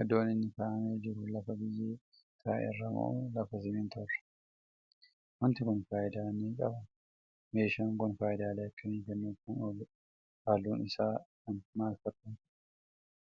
Iddoon inni kaa'amee jiru lafa biyyee ta'erra moo lafa simintoorra? Wanti Kuni faayidaa ni qabaa? Meeshaan Kuni faayidaalee akkamii kennuuf Kan ooludha? Halluun Isaa Kan maal fakkaatudha?